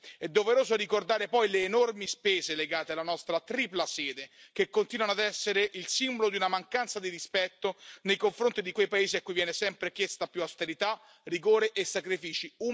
È doveroso ricordare poi le enormi spese legate alla nostra tripla sede, che continuano ad essere il simbolo di una mancanza di rispetto nei confronti di quei paesi a cui viene sempre chiesta più austerità, rigore e sacrifici.